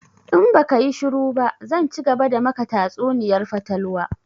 In baka yi shuru ba zan cigaba da maka tatsuniyar fatalwa!